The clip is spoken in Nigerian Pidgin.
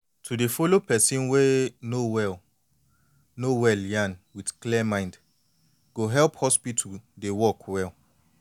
to de follow person wey no wey no well yan with clear mind go help hospital dey work well